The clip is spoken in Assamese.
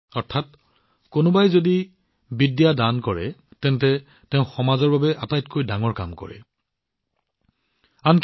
অৰ্থাৎ কোনোবাই যদি জ্ঞান দান কৰিছে তেন্তে তেওঁ সমাজৰ স্বাৰ্থত আটাইতকৈ মহৎ কাম কৰি আছে